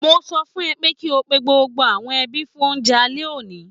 Mo sọ fún ẹ pé kí o pe gbogbo àwọn ẹbí fún oúnjẹ alẹ́ òní